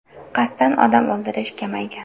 Qasddan odam o‘ldirish kamaygan.